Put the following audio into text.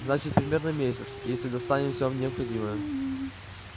значит примерно месяц если достанем всё необходимое